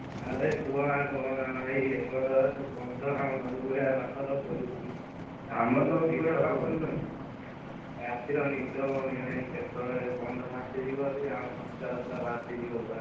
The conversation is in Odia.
ଆରେ କୁହନା କୁହନା ଭାଇ ଏପଟରେ ବନ୍ଧ ଆମ ନଈ କୂଳିଆ ପାଖର ରାତିରେ ନିଦ ହଉନି ଭାଇ କେତେବେଳେ ବନ୍ଧ ଭାସିଯିବ ଯଦି ଆମ ସଂସାର ପୁରା ଭାସିଯିବ ପୁରା।